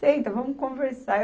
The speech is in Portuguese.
Senta, vamos conversar.